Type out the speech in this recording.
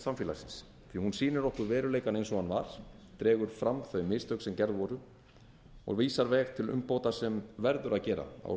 samfélagsins því hún sýnir okkur veruleikann eins og hann var dregur fram þau mistök sem gerð voru og vísar veg til umbóta sem verður að gera á